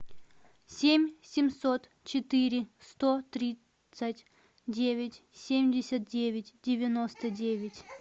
семь семьсот четыре сто тридцать девять семьдесят девять девяносто девять